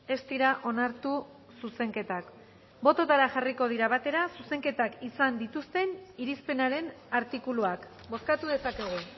ez dira onartu zuzenketak botoetara jarriko dira batera zuzenketak izan dituzten irizpenaren artikuluak bozkatu dezakegu